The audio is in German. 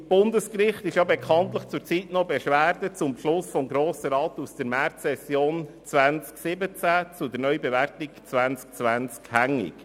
Beim Bundesgericht ist zurzeit bekanntlich noch eine Beschwerde zum Beschluss des Grossen Rates vom März 2017 zur Neubewertung 2020 hängig.